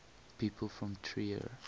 people from trier